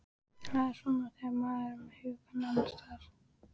Það er svona þegar maður er með hugann annars staðar.